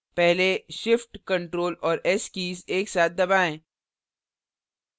पहले shift ctrl और s keys एक साथ दबाएँ